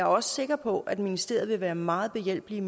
også sikker på at ministeriet vil være meget behjælpelige